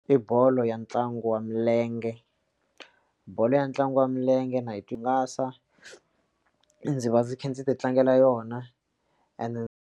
I bolo ya ntlangu wa milenge bolo ya ntlangu wa milenge na yi twi ngasa ndzi va ndzi kha ndzi ti tlangela yona and.